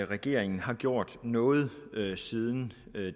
regeringen har gjort noget siden